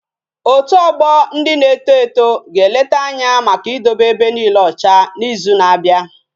Otu ogbo ndị na-eto eto ga eleta Anya Maka idobe ebe niike ocha na izu na abia